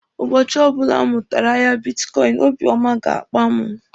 Ụbọchị ọbụla m mụtara ahịa bitkọịnị, obiọma ga-akpa mụ.